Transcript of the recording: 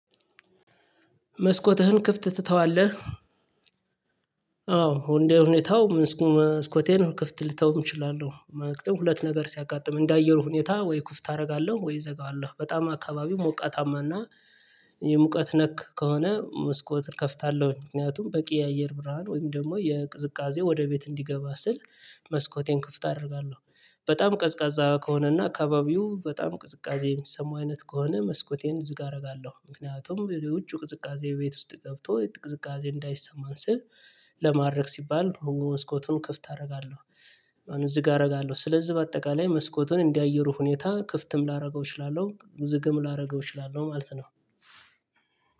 መስኮትህን ክፍት ትተዋለህ? አዎ እንዴ ሁኔታው መስኮቴን ክፍት ልተውም እችላለሁ። ሁለት ነገር ሲያጋጥም እንደ አየሩ ሁኔታ ወይ ክፍት አደርጋለሁ ወይ እዘጋዋለሁ በጣም አካባቢው ሞቃታማና የሙቀት ነክ ከሆነ መስኮት እከፍታለሁ ምክንያቱም በቂ የአየር ብርሃን ወይም ደግሞ የቅዝቃዜ ወደ ቤት እንዲገባ ስል መስኮቴን ክፍት አደርጋለሁ። በጣም ቀዝቃዛ ከሆነና አካባቢው በጣም ቅዝቃዜ የሚሰማው አይነት ከሆነ መስኮቴን ዝግ አደርጋለሁ ምክንያቱም የውጪው ቅዝቃዜ ቤት ውስጥ ገብቶ ቅዝቃዜ እንዳይሰማን ስል። ለማድረግ ሲባል መስኮቱን ክፍት አደርጋለሁ። ማነው ዝግ አደርጋለሁ። ስለዚህ በአጠቃላይ መስኮቱን እንደ አየሩ ሁኔታ ክፍትም ላደርገው እችላለሁ ዝግም ላደርገው እችላለሁ ማለት ነው።